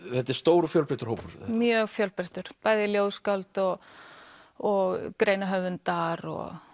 þetta er stór og fjölbreyttur hópur mjög fjölbreyttur bæði ljóðskáld og greinahöfundar